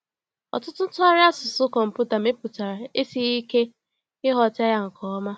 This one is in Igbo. Ọtụtụ ntụgharị asụsụ kọmpụta mepụtara esighị ike ịghọta ya nke ọma.